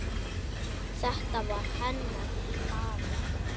Þetta var hennar hlaða.